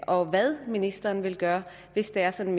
og hvad ministeren vil gøre hvis det er sådan